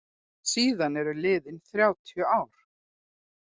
Síðan eru liðin þrjátíu ár.